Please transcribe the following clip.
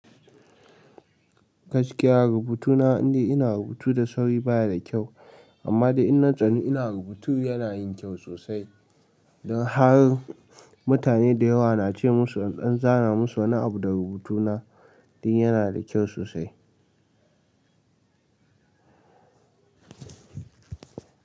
Gaskiya rubutu na inde ina rubutu da sauri baya da kyau amma da ina tsani ina rubutu yana yin kyau sosai. Da har mutane da yawa na ce mun in dan zan zara musu wani abun da rubutu na dan yana da kyau sosai.